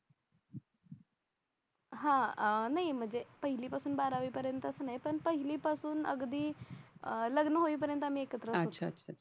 हा अह नाही म्हणजे पहिली पासन बारावी पर्यंतच नाय पण पहिली पासूनच अगदी अह लग्न होई पर्यंत आम्ही एकत्र होतो